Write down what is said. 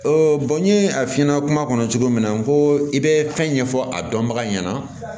n ye a fiɲɛ kuma kɔnɔ cogo min na ko i bɛ fɛn ɲɛfɔ a dɔnbaga ɲɛna